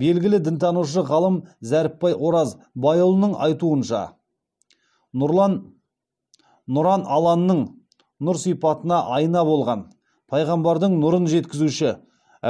белгілі дінтанушы ғалым зәріпбай оразбайұлының айтуынша нұран алланың нұр сипатына айна болған пайғамбардың нұрын жеткізуші